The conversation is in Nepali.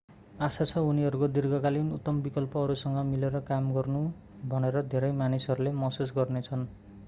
आशा छ उनीहरूको दिर्घकालीन उत्तम विकल्प अरूसँग मिलेर काम गर्नु भनेर धेरै मानिसहरूले महसुस गर्ने छन्